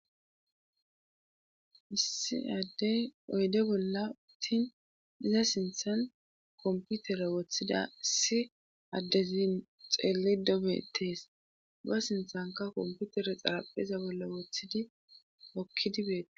issi addey oyde bolla uttin iza sinthan komputere woththida si addezin xeelli dobetees ba sinthanka komputere xarapheza bolla woththidi okkidibeete